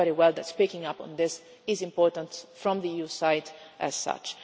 We know very well that speaking up on this is important from the EU side as such.